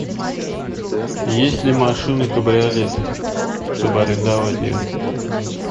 есть ли машины кабриолеты чтобы арендовать ее